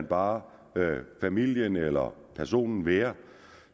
bare lader familien eller personen være